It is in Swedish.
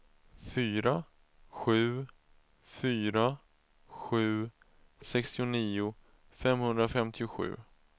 fyra sju fyra sju sextionio femhundrafemtiosju